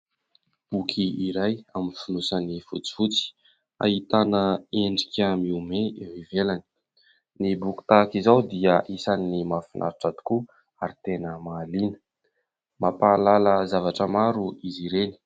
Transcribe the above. Boky iray amin'ny finosany fotsifotsy, ahitana endrika mihomehy eo ivelany. Ny boky tahaka izao dia isan'ny mahafinaritra tokoa ary tena mahalina. Mampahalala zavatra maro izy ireny.